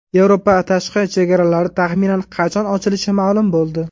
Yevropa tashqi chegaralari taxminan qachon ochilishi ma’lum bo‘ldi.